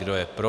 Kdo je pro?